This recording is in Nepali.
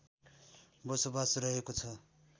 बसोबास रहेको छ